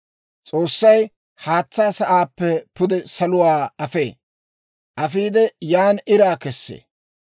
«S'oossay haatsaa sa'aappe pude saluwaa afee; yaan iraa kessee.